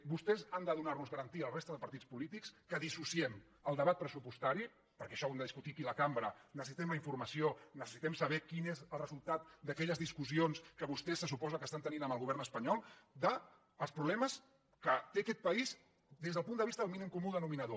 vostès han de donar nos garantia a la resta dels partits polítics que dissociem el debat pressupostari perquè això ho hem de discutir aquí a la cambra necessitem la informació necessitem saber quin és el resultat d’aquelles discussions que vostès se suposa estan tenint amb el govern espanyol dels problemes que té aquest país des del punt de vista del mínim comú denominador